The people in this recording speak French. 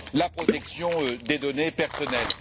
la protection des données personnelles.